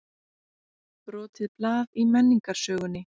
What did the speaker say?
Brotið blað í menningarsögunni